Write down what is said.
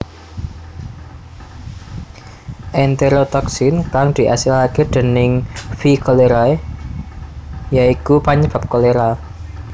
Enterotoksin kang diasilake déning V cholerae ya iku panyebab kolera